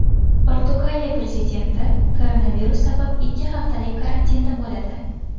Portugaliya prezidenti koronavirus sabab ikki haftalik karantinda bo‘ladi.